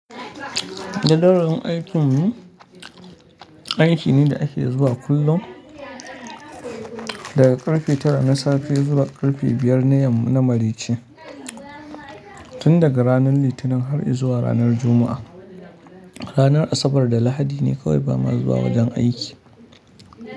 Jadawalin aikin mu aiki ne da ake zuwa kullum daga karfe tara na safe zuwa karfe biyar na yamma na mareci, tun daga ranar Litinin har izuwa ranar Juma'a. Ranar Asabar da Lahadi ne kawai ba ma zuwa wajen aiki.